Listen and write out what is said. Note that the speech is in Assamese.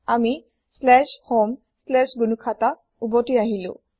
আমি homegnuhata ওভতি আহিলো